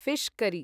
fish करी